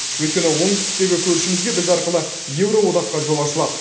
өйткені оңтүстіктегі көршімізге біз арқылы еуроодаққа жол ашылады